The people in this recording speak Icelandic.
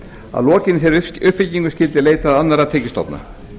að lokinni þeirri uppbyggingu skyldi leitað annarra tekjustofna